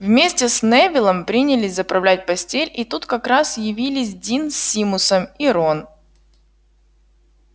вместе с невиллом принялись заправлять постель и тут как раз явились дин с симусом и рон